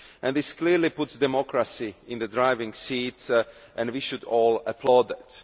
This clearly puts democracy in the driving seat and we should all applaud that.